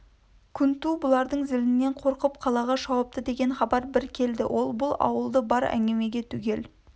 күнту бұлардың зілінен қорқып қалаға шауыпты деген хабар бір келді ол бұл ауылды бар әңгімеге түгел